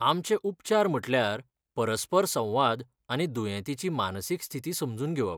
आमचे उपचार म्हटल्यार परस्पर संवाद आनी दुयेंतीची मानसीक स्थिती समजून घेवप.